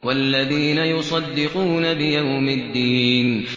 وَالَّذِينَ يُصَدِّقُونَ بِيَوْمِ الدِّينِ